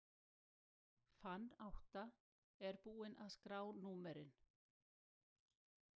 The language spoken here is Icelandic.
Fann átta, er búinn að skrá númerin.